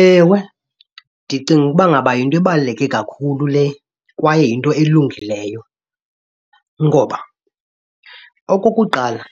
Ewe, ndicinga ukuba ngaba yinto ebaluleke kakhulu le kwaye yinto elungileyo. Ngoba okokuqala